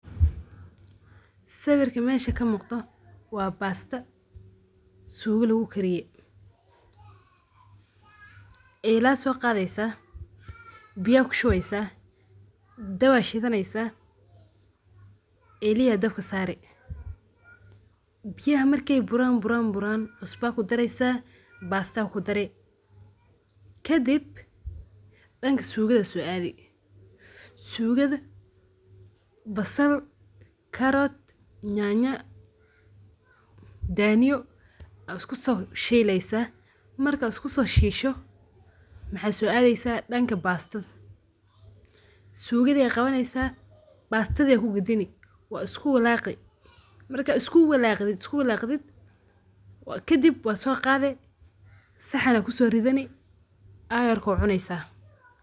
Sawirka mesha kamuqdoh, wa basta suga lagu kariye ila soqatheysah biya kushubeysah, daab Aya shethaneysah ilihi Aya dabka saari biyaha markay buaran buran cusba kudireysah basta kudari kadib danga sugatha so athi sugatha basal carrot nyanya daaniyo asku so sheeleysah, marka iskusoseshoh maxasobatheysah danga basta sugathi Aya qawaneysah batathibaya ku kadeni wa isku walaqi marka iskuwalqted kadib wasoqaathi saxan Aya kusorethani ayargo cuneysah.